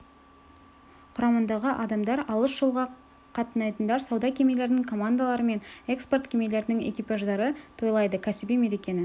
құрамындағы адамдар алыс жолға қатынайтындар сауда кемелерінің командалары мен экспорт кемелерінің экипаждары тойлайды кәсіби мерекені